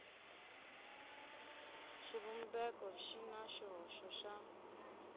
xivumbeko xi na xihoxo xa